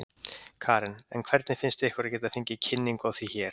Karen: En hvernig finnst ykkur að geta fengið kynningu á því hér?